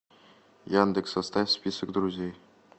яндекс составь список друзей